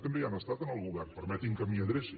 també hi han estat en el govern permeti’m que m’hi adreci